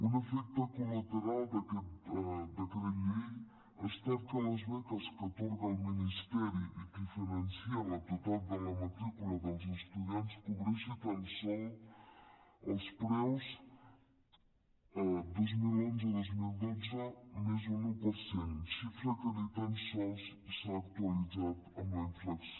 un efecte col·lateral d’aquest decret llei ha estat que les beques que atorga el ministeri i que finança el total de la matrícula dels estudiants cobreixi tan sols els preus dos mil onze dos mil dotze més un un per cent xifra que ni tan sols s’ha actualitzat amb la inflació